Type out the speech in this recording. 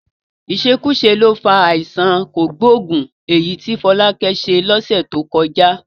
Ìṣekúṣe ló fa àìsàn kògbóògùn èyí tí Fọlákẹ́ kó sí lọ́sẹ̀ tó kọjá